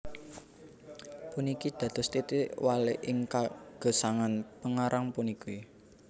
Puniki dados titik walik ing kagesangan pangarang puniki